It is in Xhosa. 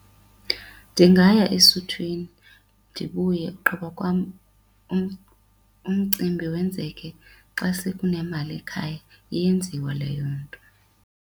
Ndingaya esuthwini ndibuye ugqiba kwam umcimbi wenzeke xa sekunemali ekhaya, iyenziwa leyo nto.